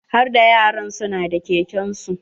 Harda yaran su na da keken su.